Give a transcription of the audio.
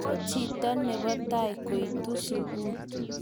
ko chito nebo tai koitu sukul